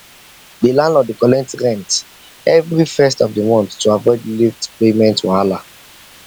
the landlord dey collect rent every first of the month to avoid late payment wahala